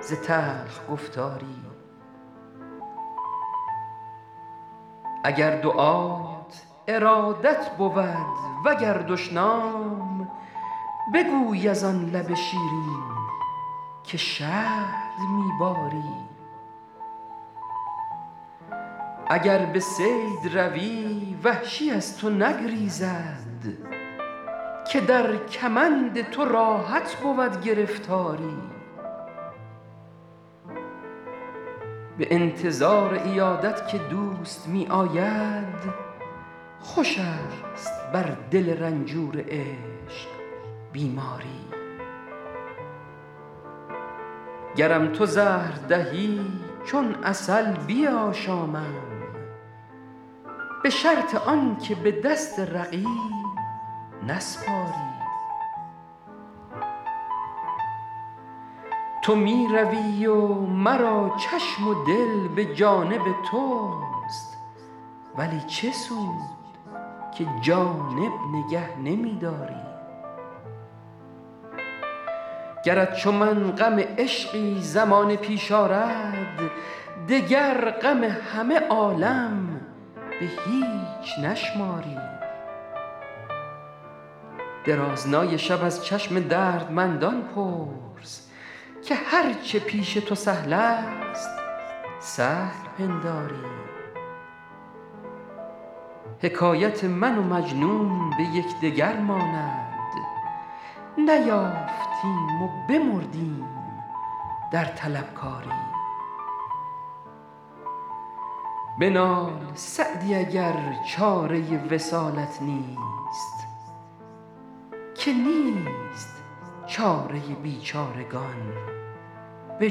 ز تلخ گفتاری اگر دعات ارادت بود و گر دشنام بگوی از آن لب شیرین که شهد می باری اگر به صید روی وحشی از تو نگریزد که در کمند تو راحت بود گرفتاری به انتظار عیادت که دوست می آید خوش است بر دل رنجور عشق بیماری گرم تو زهر دهی چون عسل بیاشامم به شرط آن که به دست رقیب نسپاری تو می روی و مرا چشم و دل به جانب توست ولی چه سود که جانب نگه نمی داری گرت چو من غم عشقی زمانه پیش آرد دگر غم همه عالم به هیچ نشماری درازنای شب از چشم دردمندان پرس که هر چه پیش تو سهل است سهل پنداری حکایت من و مجنون به یکدگر ماند نیافتیم و بمردیم در طلبکاری بنال سعدی اگر چاره وصالت نیست که نیست چاره بیچارگان به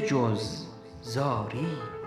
جز زاری